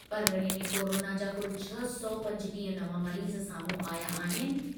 परग॒णे में कोरोना जा कुल छह सौ पंजटीह नवां मरीज़ साम्हूं आया आहिनि।